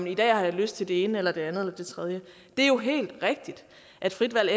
i dag har jeg lyst til det ene eller det andet eller det tredje det er jo helt rigtigt at frit valg